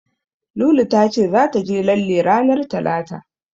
Lulu ta ce zata je lalle ranar Talata.